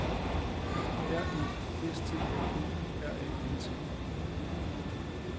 R E S T A U R A N T